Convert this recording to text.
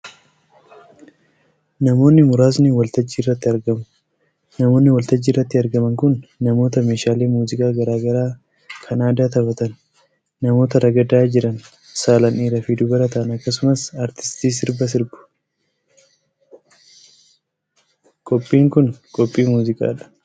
Namoonni muraasni waltajjii irratti argamu. Namoonni waltajjii irratti argaman kun; namoota meeshaalee muuziqaa garaa garaa kan aadaa taphatan, namoota ragadaa jiran saalan dhiiraa fi dubara ta'an akkasumas aartistii sirba sirbaa jiruu dha. Qophiin kun, qophii muuziqaa dha.